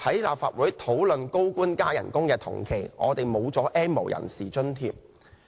立法會討論高官增薪的同時，我們失去 "N 無人士"津貼。